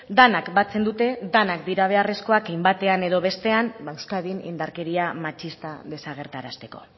denak batzen dute denak dira beharrezkoak hein batean edo bestean euskadin indarkeria matxista desagerrarazteko